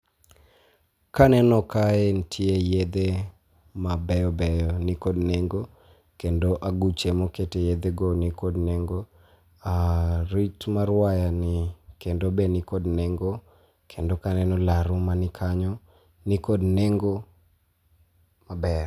Kaneno kae nitie yedhe mabeyobeyo ni kod nengo, kendo aguche mokete yedhego ni kod nengo. Arit mar wayani kendo be ni kod nengo , kendo kaeno laru mani kanyo ni kod nengo maber.